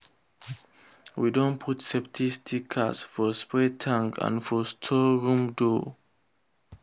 we don put safety sticker for spray tank and for store room door.